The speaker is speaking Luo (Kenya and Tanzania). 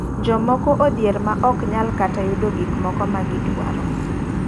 Jomoko odhier ma ok nyal kata yudo gik moko ma gi dwaro.